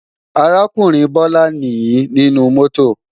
Arákùnrin Bọ́lá nìí nínú mọ́tò